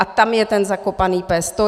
A tam je ten zakopaný pes.